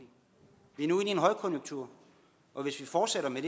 højkonjunktur og hvis vi fortsætter med